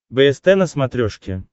бст на смотрешке